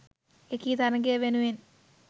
එකී තරඟය වෙනුවෙන්